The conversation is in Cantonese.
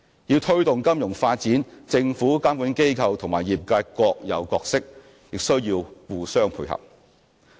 要推動金融發展，政府、監管機構和業界各有角色，需要互相配合。